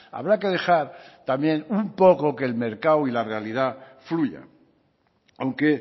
habrá que dejar también un poco que el mercado y la realidad fluya aunque